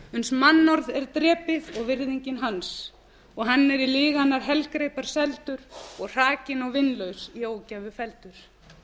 uns mannorð er drepið og virðingin hans og hann er í lyginnar helgreipar seldur og hrakinn og vinlaus í ógæfu felldur